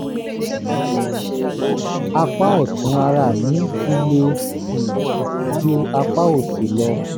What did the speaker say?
apá ọ̀tún ara mi ti le um ju apá òsì lọ